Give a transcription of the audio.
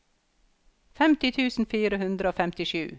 femti tusen fire hundre og femtisju